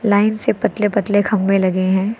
Line से पतले पतले खंभे लगे हैं।